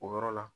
O yɔrɔ la